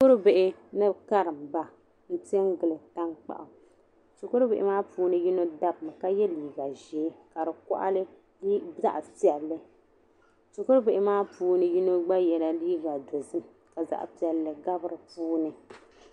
Shikurubihi ni karimba m pe n gili tankpaɣu shikurubihi maa ni puuni yino dabimi ka ye liiga ʒee ka di kɔɣili zaɣpiɛlli shikurubihi maa puuni yino gba yela liiga dozim ka zaɣpiɛlli gabi di puuni.